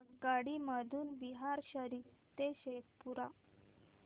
आगगाडी मधून बिहार शरीफ ते शेखपुरा